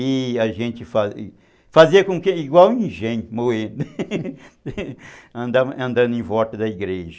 E a gente fazia igual engenho, moído, andando em volta da igreja.